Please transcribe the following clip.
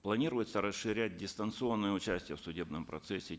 планируется расширять дистанционное участие в судебном процессе